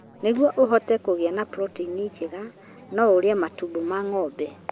Nĩguo ũhote kũgĩa na proteini njega, no ũrĩe matumbĩ ma ng'ombe.